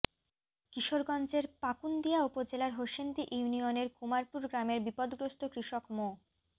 কিশোরগঞ্জের পাকুন্দিয়া উপজেলার হোসেন্দি ইউনিয়নের কুমারপুর গ্রামের বিপদগ্রস্ত কৃষক মো